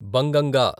బంగంగా